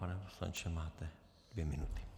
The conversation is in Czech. Pane poslanče, máte dvě minuty.